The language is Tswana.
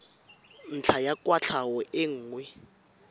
ntlha ya kwatlhao e nngwe